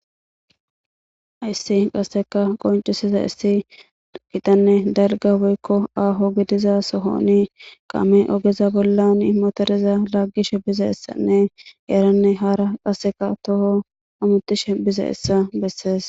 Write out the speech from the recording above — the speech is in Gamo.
issi qasseka qoncisiza issi gitanne dalga woykko aaho gidiza sohoni qame ogeza bollan imotoreza laggishe biza essanne eranne hara qaseka toho amutishe biza essa bessees